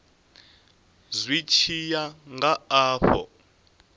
zwi tshi ya nga afho